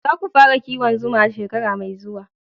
Za ku fara kiwon zuma shekara mai zuwa